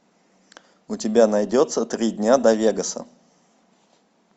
у тебя найдется три дня до вегаса